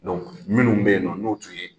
minnu bɛ yen nɔ n'o tun ye